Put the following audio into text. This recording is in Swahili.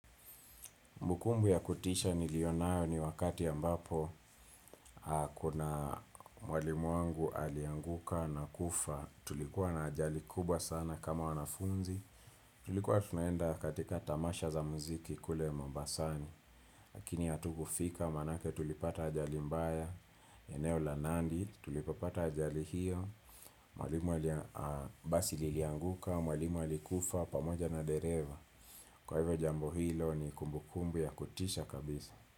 Kumbukumbu ya kutisha niliyonayo ni wakati ambapo kuna mwalimu wangu alianguka na kufa. Tulikuwa na ajali kubwa sana kama wanafunzi. Tulikuwa tunaenda katika tamasha za muziki kule mombasani. Lakini hatukufika maanake tulipata ajali mbaya. Eneo la nandi tulipopata ajali hio. Mwalimu ali basi lilianguka, mwalimu alikufa, pamoja na dereva. Kwa hivyo jambo hilo ni kumbukumbu ya kutisha kabisa.